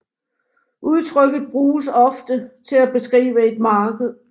Udtrykket bruges ofte til at beskrive et marked